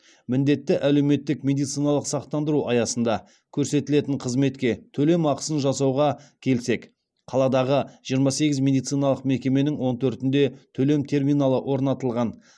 міндетті әлеуметтік медициналық сақтандыру аясында көрсетілетін қызметке төлем ақысын жасауға келсек қаладағы жиырма сегіз медициналық мекеменің он төртінде төлем терминалы орнатылған